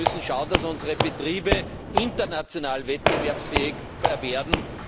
Wir müssen schauen, dass unsere Betriebe international wettbewerbsfähiger werden.